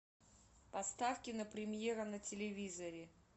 поставь кинопремьера на телевизоре